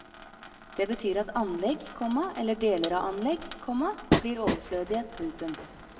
Det betyr at anlegg, komma eller deler av anlegg, komma blir overflødige. punktum